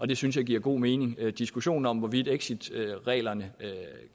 det synes jeg giver god mening diskussionen om hvorvidt exitreglerne